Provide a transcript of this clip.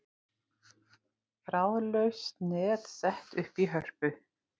Þráðlaust net sett upp í Hörpu